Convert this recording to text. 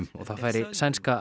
og það færi sænska